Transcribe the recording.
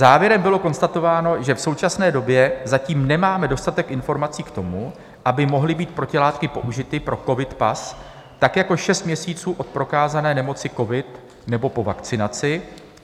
Závěrem bylo konstatováno, že v současné době zatím nemáme dostatek informací k tomu, aby mohly být protilátky použity pro covid pas, tak jako šest měsíců od prokázané nemoci covid nebo po vakcinaci.